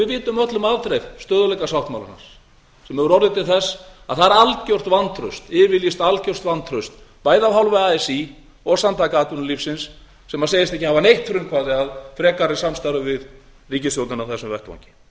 við vitum öll um afdrif stöðugleikasáttmálans sem hefur orðið til þess að það er algert vantraust yfirlýst algert vantraust bæði af hálfu así og samtaka atvinnulífsins sem segjast ekki hafa neitt frumkvæði að frekara samstarfi við ríkisstjórnina á þessum vettvangi